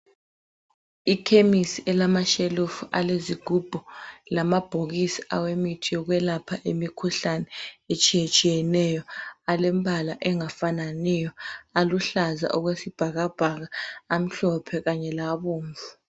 Ikhemisi elamashelufu alezigubhu lamabhokisi awemithi yokwelapha imikhuhlane etshiyetshiyeneyo alemibala engafananiyo, eluhlaza okwesibhakabhaka, amhlophe kanye labomvu.